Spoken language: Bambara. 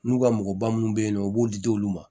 N'u ka mɔgɔba munnu bɛ ye nɔ u b'o di di olu ma